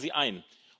Halten Sie ein!